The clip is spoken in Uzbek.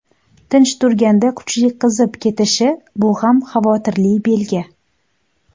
Tinch turganda kuchli qizib ketishi bu ham xavotirli belgi.